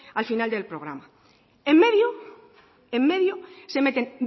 al final del programa en medio en medio se meten